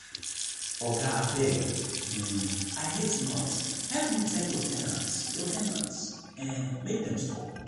oga abeg um i hate noise help me tell your ten ants your ten ants um make dem stop